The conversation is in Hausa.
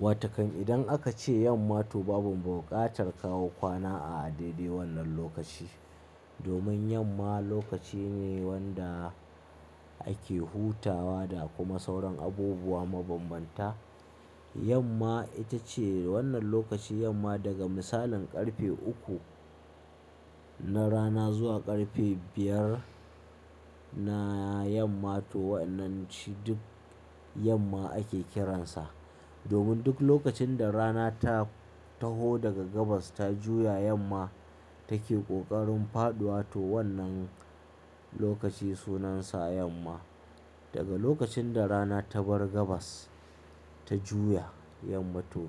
Watakan idan aka ce yamma to babu buƙatar kawo kwana a daidai wannan lokaci. Domin yamma lokaci ne wanda ake hutawa da kuma sauran abubuwa mabanbanta. Yamma ita ce wannan lokaci, yamma daga misalin ƙarfe uku na rana zuwa ƙarfe biyar na yamma to wannan shi duk yamma ake kiransa. Domin duk lokacin da rana ta taho daga gabas ta juya yamma take ƙoƙarin faɗuwa to wannan lokaci sunansa yamma. Daga lokacin da rana ta bar gabas ta juya yamma to